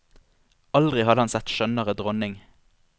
Aldri hadde han sett skjønnere dronning.